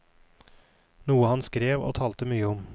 Noe han skrev og talte mye om.